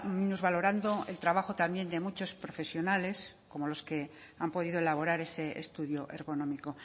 minusvalorando el trabajo también de muchos profesionales como los que han podido elaborar ese estudio ergonómico